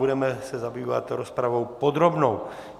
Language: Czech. Budeme se zabývat rozpravou podrobnou.